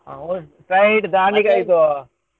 ಅವ .